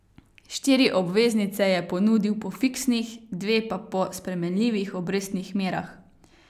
Štiri obveznice je ponudil po fiksnih, dve pa po spremenljivih obrestnih merah.